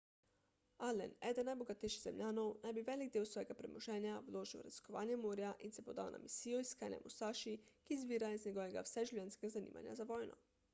allen eden najbogatejših zemljanov naj bi velik del svojega premoženja vložil v raziskovanje morja in se podal na misijo iskanja musaši ki izvira iz njegovega vseživljenjskega zanimanja za vojno